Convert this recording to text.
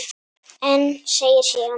En segir síðan